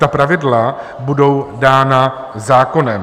Ta pravidla budou dána zákonem.